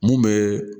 Mun bɛ